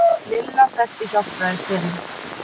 Lilla þekkti Hjálpræðisherinn.